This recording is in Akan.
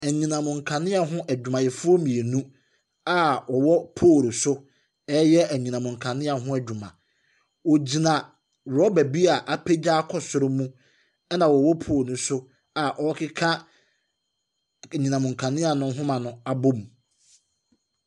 Anyinam nkanea ho adwumayɛfoɔ mmienu a wɔwɔ poll so reyɛ anyinam nkanea ho adwuma, wɔgyina rɔba bi a apaya akɔ soro mu, ɛna wɔwɔ poll no so a wɔrekeka anyinam nkanea no nhoma abom.